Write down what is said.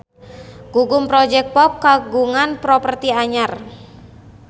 Gugum Project Pop kagungan properti anyar